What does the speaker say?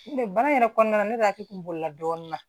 N tɛ baara in yɛrɛ kɔnɔna na ne de hakili kunna dɔɔnin na